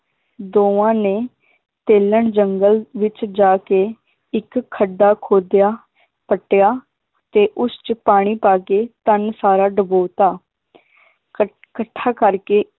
ਦੋਵਾਂ ਨੇ ਤੇਲਣ ਜੰਗਲ ਵਿਚ ਜਾ ਕੇ ਇੱਕ ਖੱਡਾ ਖੋਦਿਆ ਪੱਟਿਆ ਤੇ ਉਸ ਚ ਪਾਣੀ ਪਾ ਕੇ ਧਨ ਸਾਰਾ ਡੁਬੋਤਾ ਕੱਠ~ ਇਕੱਠਾ ਕਰ ਕੇ